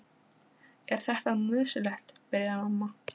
Er þetta nú nauðsynlegt, byrjaði mamma.